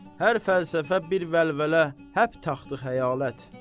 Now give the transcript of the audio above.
Hər fəlsəfə bir vəlvələ, həp taxtı-xəyalət.